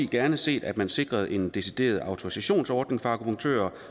gerne set at man sikrede en decideret autorisationsordning for akupunktører